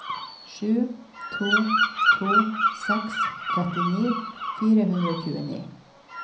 sju to to seks trettini fire hundre og tjueni